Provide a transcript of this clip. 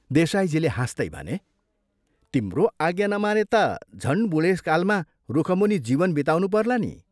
देसाईजीले हाँस्तै भने, "तिम्रो आज्ञा नमाने ता झन् बूढेसकालमा रुखमुनि जीवन बिताउनुपर्ला नि!